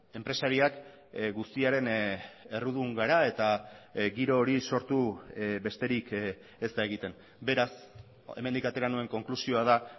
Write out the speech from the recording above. enpresariak guztiaren errudun gara eta giro hori sortu besterik ez da egiten beraz hemendik atera nuen konklusioa da